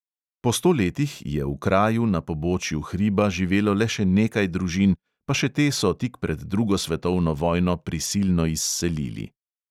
Po sto letih je v kraju na pobočju hriba živelo le še nekaj družin, pa še te so tik pred drugo svetovno vojno prisilno izselili.